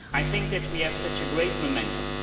I think that we have such a great momentum.